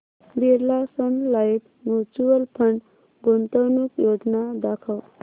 Birla sun life mutual fund गुंतवणूक योजना दाखव